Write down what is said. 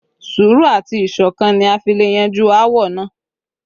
Sùúrù àti ìṣọ̀kan ni a fi le yanjú áwọ̀ náà